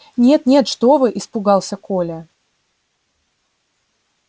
нет нет что вы испугался коля